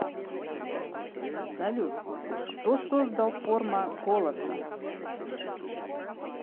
салют кто создал форма голоса